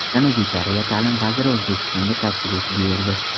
Janubiy Koreya ta’lim vaziri O‘zbekistonga tashrif buyurdi.